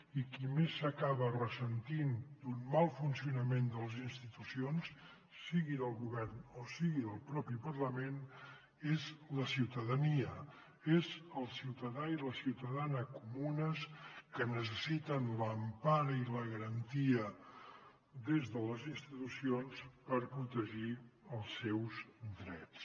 i qui més s’acaba ressentint d’un mal funcionament de les institucions sigui del govern o sigui del mateix parlament és la ciutadania són el ciutadà i la ciutadana comunes que necessiten l’empara i la garantia des de les institucions per protegir els seus drets